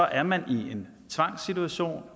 er man i en tvangssituation